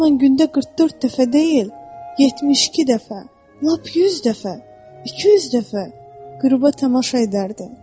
O zaman gündə 44 dəfə deyil, 72 dəfə, lap 100 dəfə, 200 dəfə qüruba tamaşa edərdi.